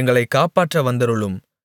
எங்களைக் காப்பாற்ற வந்தருளும்